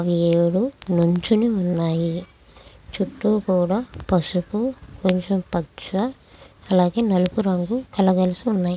ఏడు నుంచొని ఉన్నాయి. చుట్టు కూడా పసుపు కొంచెం పచ్చని అలాగే నలుపు రంగు కళకలసి ఉన్నాయి.